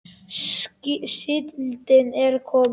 Síldin er komin!